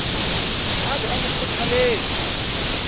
a be a mo kgothaletse